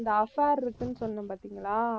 இந்த affair இருக்குன்னு சொன்னேன் பாத்தீங்களா?